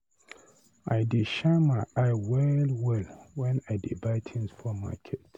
I dey shine my eye well-well wen I dey buy tins for market.